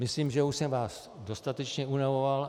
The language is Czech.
Myslím, že už jsem vás dostatečně unavoval.